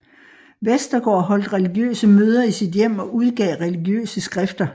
Westergaard holdt religiøse møder i sit hjem og udgav religiøse skrifter